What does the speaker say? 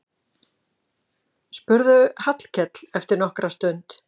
spurði Hallkell eftir nokkra stund.